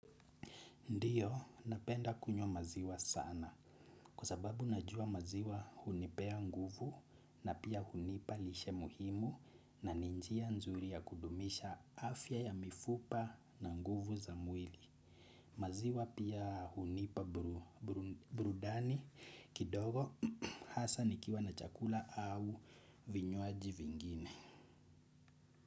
Ndio napenda kunywa maziwa sana kwa sababu najua maziwa hunipea nguvu na pia hunipa lishe muhimu nani njia nzuri ya kudumisha afya ya mifupa na nguvu za mwili. Maziwa pia hunipa burudani kidogo hasa nikiwa na chakula au vinywaji vingine.